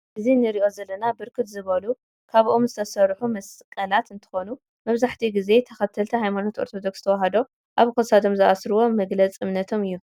እዚ ነሪኦ ዘለና ብርክት ዝበሉ ካበ ኦም ዝተሰሩሑ መስቀላተ እንትኮኑ መብዛሕቲኡ ግዜ ተከተልቲ ሃይማኖት ኦርቶዶክስ ተዋህዶ አብ ክሳዶም ዝአስርዎ መግለፅ እምነቶም እዩ።